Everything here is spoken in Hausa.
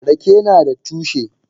Rake nada tushe.